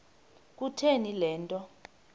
kutheni le nto